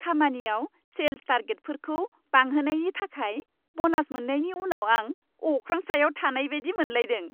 खामानियाव सेल्स टारगेटफोरखौ बांहोनायनि थाखाय ब'नास मोननायनि उनाव आं अख्रां सायाव थानाय बायदि मोनलायदों।